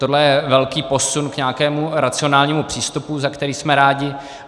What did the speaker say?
Tohle je velký posun k nějakému racionálnímu přístupu, za který jsme rádi.